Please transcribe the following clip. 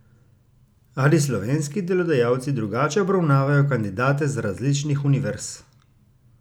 Ali slovenski delodajalci drugače obravnavajo kandidate z različnih univerz?